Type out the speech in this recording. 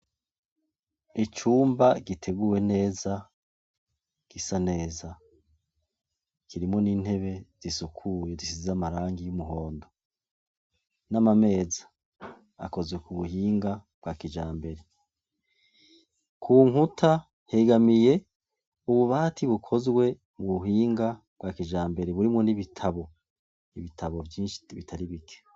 Icumba giteguwe neza gisa neza kirimwo n'intebe zisukuye zisize amarangi y'umuhondo n'amameza akoze ku buhinga bwa kijambere, ku nkuta hegamiye ububati bukozwe mu buhinga bwa kijambere burimwo n'ibitabo, ibitabo vyinshi bitari bike.